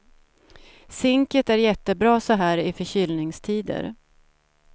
Zinket är jättebra så här i förkylningstider.